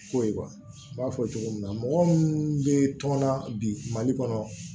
Ko ye n b'a fɔ cogo min na mɔgɔ minnu bɛ tɔnna bi mali kɔnɔ